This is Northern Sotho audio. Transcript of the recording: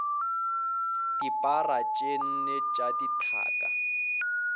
dipara tše nne tša dithaka